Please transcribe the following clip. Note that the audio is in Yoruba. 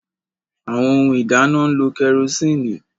Awọn Ohun ìdáná n'lo kerosinni